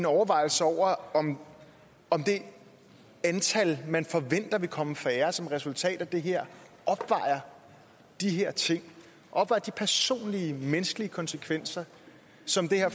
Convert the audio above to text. overvejelser over om om det antal man forventer vil komme færre som resultatet af det her opvejer de her ting opvejer de personlige menneskelige konsekvenser som det her